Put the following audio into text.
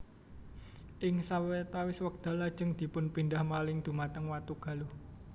Ing sawetawis wekdal lajeng dipunpindah malih dhumateng Watugaluh